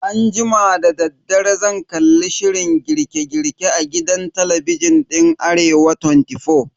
Anjima dadaddare zan kalli shirin girke girke a gidan talabijin din Arewa 24.